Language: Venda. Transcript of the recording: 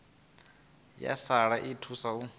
ya sialala i thusa u